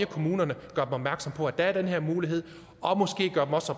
kommunerne opmærksom på at der er den her mulighed og måske også